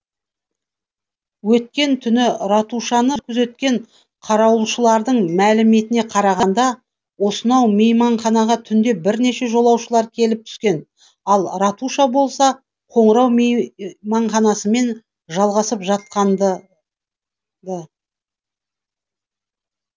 өткен түні ратушаны күзеткен қарауылшылардың мәліметіне қарағанда осынау мейманханаға түнде бірнеше жолаушылар келіп түскен ал ратуша болса қоңырау мейманханасымен жалғасып жатқанды ды